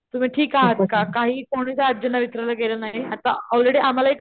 तुम्ही ठीक आहत का काहीच कोणीच आजींना विचारायला गेलं नाही आता ऑलरेडी आम्हला एक